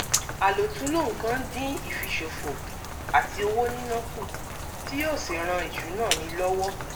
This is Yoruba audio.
àlòtúnlò nǹkan ń dín ìfiṣofò àti owó níná kù tí yóò sí ran ìsúná mi lọ́wọ́